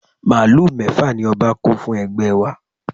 Màálù mẹ́fà ni ọba kó fún ẹgbẹ́ wa